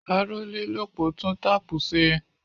Arólélòpó tun tápù ṣe.